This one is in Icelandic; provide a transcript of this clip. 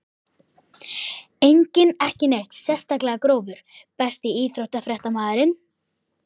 Enginn ekki neitt sérstaklega grófur Besti íþróttafréttamaðurinn?